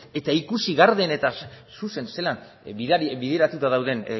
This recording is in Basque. eta ikusi garden eta zuzen zelan bideratuta dauden